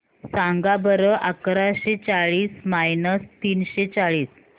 सांगा बरं अकराशे चाळीस मायनस तीनशे चाळीस